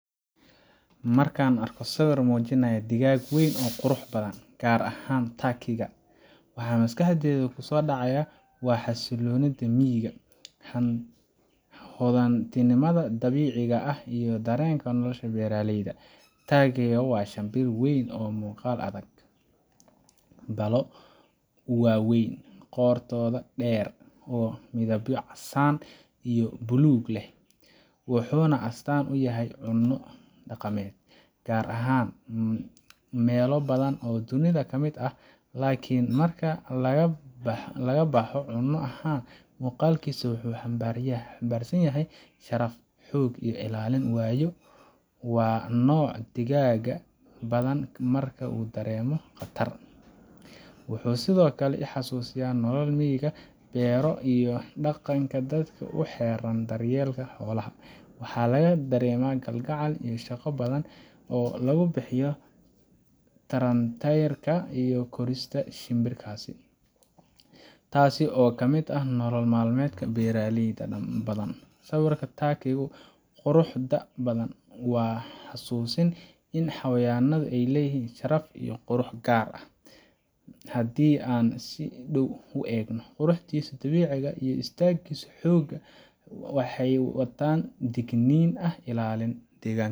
Markan arko sibir mujinayah digag weyn oo quraxbadhan, gar ahan takiiga waxa maskaxdeyda kusodacayah waa xasilonida miiga, hodantinimada dabiciga ah, iyo darenka nolosha beraleyda, taagiga waa shimbir weyn oo muqal adhag, balo waweyn qortoda der, oo midabya casan iyo blug leeh, wuxu nah astan uyahay cuno daqamed, gar ahan melo badhan oo dunida kamid ah, lakin marka lagaboxo cuno ahan muqalkisa wuxu xambarsanyahay sharaf, xoog iyo ilalin wayo waa nooc digaga badhan marka udaremo qatar, wuxu sidiokale ixasusiya nolol miga bero iyo daqanka dadka uxeran daryelka xolaha, waxa lagadarema galgacel iyo shaqo badhan oo lagu bixiyo taranterka iyo korista shimbirkasi, tasi oo kamid ah nolol malmedka beraleyda inbadhan. Siwirka taakigu quraxda badhan waa xasusin in xawayanada ay leyihin sharaf iyo qurux gar ah, hadi an sii dow uu egnoh quraxdisa dabiciga iyo istagisa xoga waxay watan tegnin ah ilalin degan.